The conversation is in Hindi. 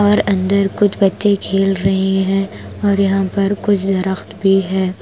और अंदर कुछ बच्चे खेल रहे हैं और यहां पर कुछ दरख्त भी है।